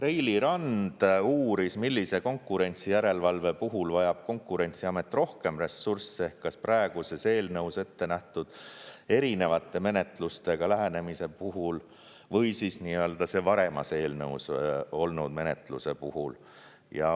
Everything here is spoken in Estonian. Reili Rand uuris, millise konkurentsijärelevalve puhul vajab Konkurentsiamet rohkem ressursse, kas praeguses eelnõus ettenähtud erinevate menetlustega lähenemise puhul või siis varasemas eelnõus olnud menetluse puhul.